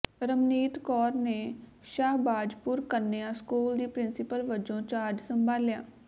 ਰਮਨੀਤ ਕੌਰ ਨੇ ਸ਼ਾਹਬਾਜਪੁਰ ਕੰਨਿਆ ਸਕੂਲ ਦੀ ਪਿ੍ੰਸੀਪਲ ਵਜੋਂ ਚਾਰਜ ਸੰਭਾਲਿਆ